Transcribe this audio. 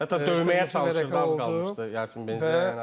Hətta döyməyə çalışdı az qalmışdı Yasin Benzia.